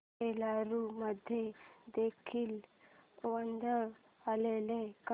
एलुरू मध्ये देखील वादळ आलेले का